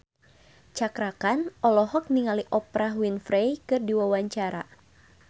Cakra Khan olohok ningali Oprah Winfrey keur diwawancara